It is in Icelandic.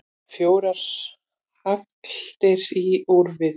Fjórar hagldir úr við.